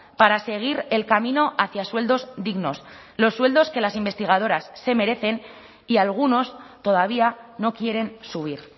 para seguir el camino hacia sueldos dignos los sueldos que las investigadoras se merecen y algunos todavía no quieren subir